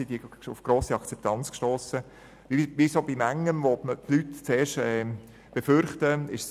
Wie bei so manchen Dingen haben die Leute zuerst Befürchtungen.